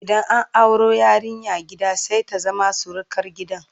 idan an auro yarinya gida sai ta zama surukar gidan